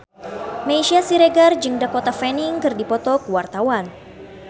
Meisya Siregar jeung Dakota Fanning keur dipoto ku wartawan